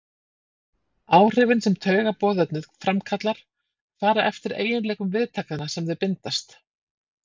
Áhrifin sem taugaboðefnið framkallar fara eftir eiginleikum viðtakanna sem þau bindast.